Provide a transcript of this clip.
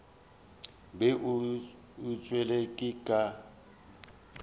o be a tšwele ka